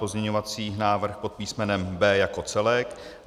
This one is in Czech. Pozměňovací návrh pod písmenem B jako celek.